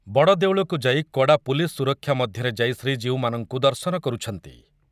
ବଡ଼ଦେଉଳକୁ ଯାଇ କଡ଼ା ପୁଲିସ ସୁରକ୍ଷା ମଧ୍ୟରେ ଯାଇ ଶ୍ରୀଜୀଉମାନଙ୍କୁ ଦର୍ଶନ କରୁଛନ୍ତି ।